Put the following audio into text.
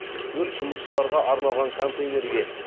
өрт жұмысшыларға арналған контейнерге